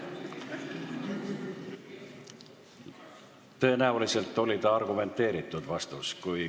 Tõenäoliselt oli see argumenteeritud vastus.